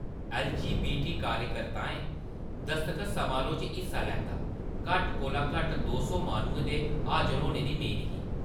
LGBT. कार्यकर्ताएं दसखत समारोह्‌‌ च हिस्सा लैता, घट्ट कोला घट्ट दो सौ माह्‌नुएं दे हाजर होने दी मेद ही।